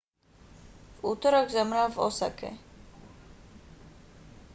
v utorok zomrel v osake